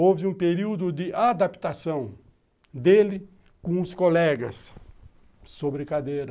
Houve um período de adaptação dele com os colegas sobre cadeira.